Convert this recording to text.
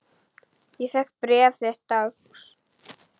Ég fékk bréf þitt dags.